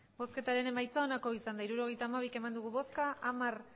hirurogeita hamabi eman dugu bozka hamar